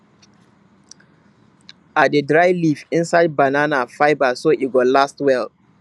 i dey dry leaf inside banana fibre so e go last well